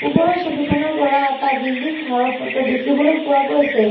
ওপৰৰ ছবিখনৰ পৰা এটা বিল্ডিংঘৰৰ ফটো দেখিবলৈ পোৱা গৈছে।